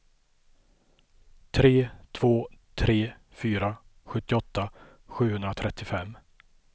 tre två tre fyra sjuttioåtta sjuhundratrettiofem